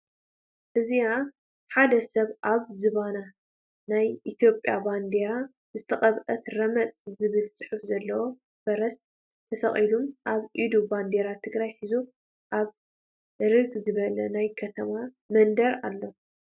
እዚኣ ሓደ ሰብ አብ ዝባን ናይ ኢትዮጵያ ባንዴራ ዝተቀብአት ረመፅ ዝብል ፅሑፍ ዘለዋ ፈረስ ተሰቂሉ አብ ኢዱ ባንዴራ ትግራይ ሒዙ አብ እርግ ዝበለ ናይ ከተማ መንደር አሎ፡፡